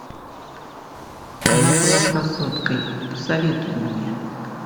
она была красоткой посоветуй мне